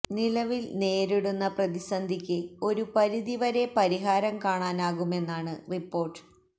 നിലവില് നേരിടുന്ന പ്രതിസന്ധിക്ക് ഒരു പരിധി വരെ പരിഹാരം കാണാനാകുമെന്നാണ് റിപ്പോര്ട്ട്